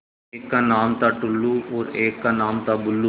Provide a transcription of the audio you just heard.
एक का नाम था टुल्लु और एक का नाम था बुल्लु